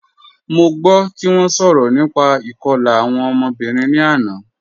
Mo gbọ ti wọn sọrọ nípà ikọ̀la awọn ọmọ̀bìrín ni àná